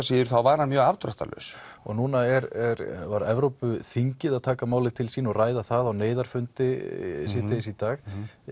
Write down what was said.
síður þá var hann mjög afdráttarlaus núna var Evrópuþingið að taka málið til sín og ræða það á neyðarfundi síðdegis í dag